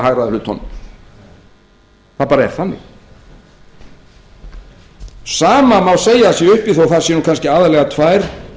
að hagræða hlutunum það er bara þannig sama má segja að sé uppi þó það séu kannski aðallega tvær